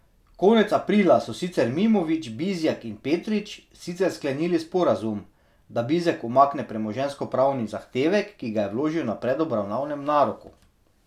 Konec aprila so sicer Mimović, Bizjak in Petrič sicer sklenili sporazum, da Bizjak umakne premoženjskopravni zahtevek, ki ga je vložil na predobravnavnem naroku.